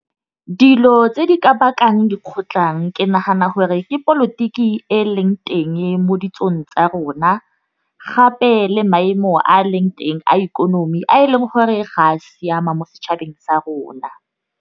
Dilo tse di ka bakang dikgotlhang ke nagana gore ke polotiki e leng teng mo ditsong tsa rona. Gape le maemo a leng teng a ikonomi a e leng gore ga a siama mo setšhabeng sa rona.